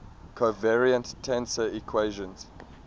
covariant tensor equations